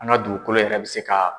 An ka dugukolo yɛrɛ bɛ se ka